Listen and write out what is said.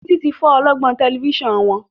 Titi tí fọ ọlọgbọn Tẹlifíṣàn wón.